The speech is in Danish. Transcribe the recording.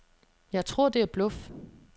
Jeg tror det er bluff.